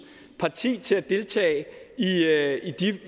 parti til at deltage